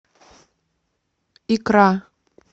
икра